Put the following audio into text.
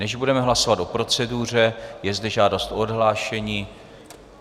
Než budeme hlasovat o proceduře, je zde žádost o odhlášení.